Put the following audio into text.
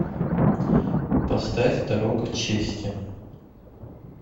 поставь дорога чести